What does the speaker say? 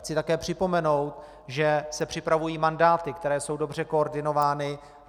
Chci také připomenout, že se připravují mandáty, které jsou dobře koordinovány.